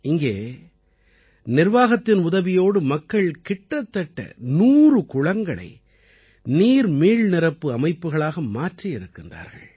இங்கே நிர்வாகத்தின் உதவியோடு மக்கள் கிட்டத்தட்ட நூறு குளங்களை நீர் மீள்நிரப்பு அமைப்புகளாக மாற்றியிருக்கிறார்கள்